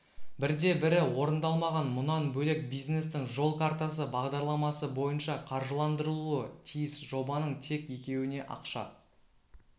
бірде-бірі орындалмаған мұнан бөлек бизнестің жол картасы бағдарламасы бойынша қаржыландырылуы тиіс жобаның тек екеуіне ақша